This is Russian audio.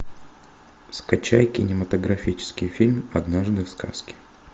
скачай кинематографический фильм однажды в сказке